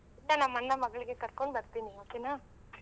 ನಮ್ಮ್ ಅಣ್ಣನ್ ಮಗಳ್ನ ಕರ್ಕೊಂಡ್ ಬರ್ತೀನಿ okay ನಾ?